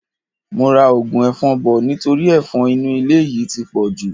Mo ra ogun efon bò nítorí efon inú ilé yìí ti pọ̀jù.